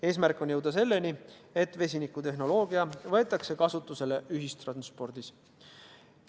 Eesmärk on jõuda selleni, et vesinikutehnoloogia võetaks kasutusele ühistranspordis.